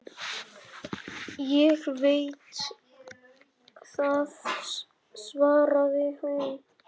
Ég veit það, svaraði hinn.